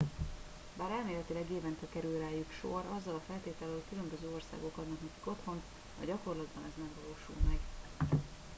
bár elméletileg évente kerül rájuk sor azzal a feltétellel hogy különböző országok adnak nekik otthont a gyakorlatban ez nem valósul meg